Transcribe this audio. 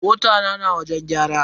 Mota na na wajen gyara.